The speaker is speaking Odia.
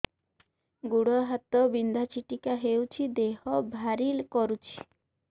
ଗୁଡ଼ ହାତ ବିନ୍ଧା ଛିଟିକା ହଉଚି ଦେହ ଭାରି କରୁଚି